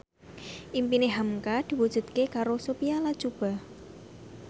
impine hamka diwujudke karo Sophia Latjuba